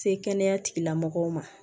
Se kɛnɛya tigilamɔgɔw ma